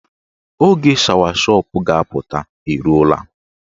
Oge shawashọp ga-apụta eruola.